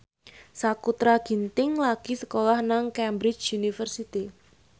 Sakutra Ginting lagi sekolah nang Cambridge University